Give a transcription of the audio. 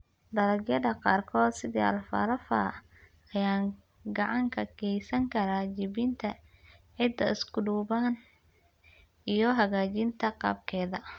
Dalagyada qaarkood, sida alfalfa, ayaa gacan ka geysan kara jebinta ciidda isku duuban iyo hagaajinta qaabkeeda.